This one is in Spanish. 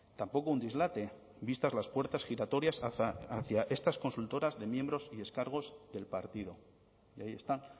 tampoco un dislate vistas las puertas giratorias hacia estas consultoras de miembros y excargos del partido y ahí están